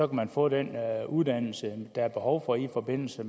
man få den uddannelse der er behov for i forbindelse